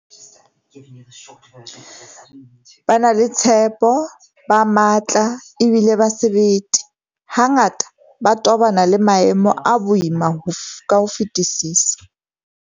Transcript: Ba na le tshepo, ba matla ebile ba sebete, hangata ba tobana le maemo a boima ka ho fetisisa.